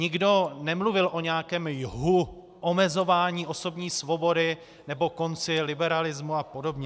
Nikdo nemluvil o nějakém jhu omezování osobní svobody nebo konci liberalismu a podobně.